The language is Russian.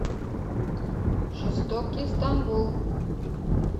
жестокий стамбул